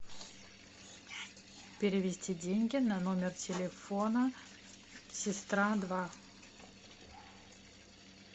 перевести деньги на номер телефона сестра два